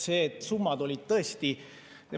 See, et summad olid tõesti …